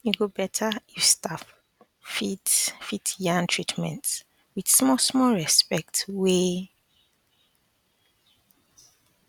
e go better if staff fit fit yarn treatments with small small respect way